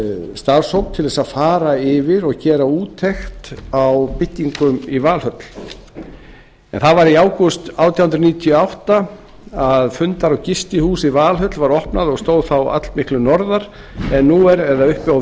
starfshóp til að fara yfir og gera úttekt á byggingum í valhöll það var í ágúst átján hundruð níutíu og átta að fundar og gistihús í valhöll var opnað og stóð þá allmiklu orðar en nú er eða uppi á